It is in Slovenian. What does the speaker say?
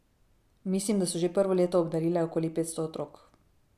Mislim, da so že prvo leto obdarile okoli petsto otrok.